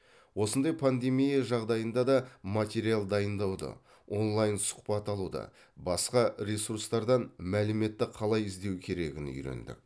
осындай пандемия жағдайында да материал дайындауды онлайн сұхбат алуды басқа ресурстардан мәліметті қалай іздеу керегін үйрендік